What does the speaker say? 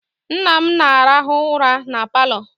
Nna m na-arahụ ụra na Palọ